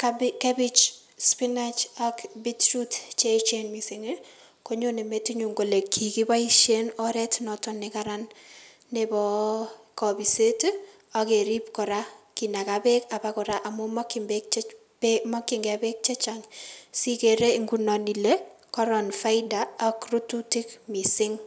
kabe kebich, spinech ak bit root cheechen missing' ii, konyone metinyun kole kikiboisien oret noton nekaran neboo kopiset ii ak kerib kora kinaka beek obokora amun amun mokyingei beek chechang' sikere ngunon kele koron faida ak rututik missing'.